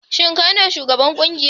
Shin kai ne shugaban kungiyar?